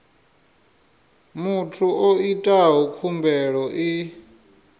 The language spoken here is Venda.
muthu o itaho khumbelo i